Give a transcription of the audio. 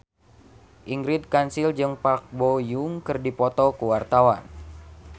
Ingrid Kansil jeung Park Bo Yung keur dipoto ku wartawan